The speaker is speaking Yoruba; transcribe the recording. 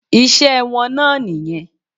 Iṣẹ́ wọn náà nìyẹn.